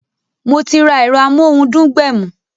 Mo ti ra ero amohun dun gbẹ̀mù